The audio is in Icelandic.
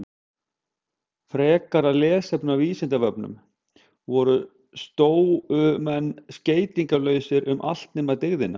Frekara lesefni á Vísindavefnum: Voru stóumenn skeytingarlausir um allt nema dygðina?